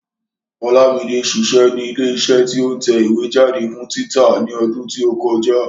Olúmide ṣiṣẹ́ ní ilé iṣẹ́ tí ó ń tẹ ìwé jáde fún títa ní ọdún tí ó kọjá